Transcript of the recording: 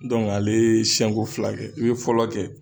ale ye siɲɛko fila kɛ i bɛ fɔlɔ kɛ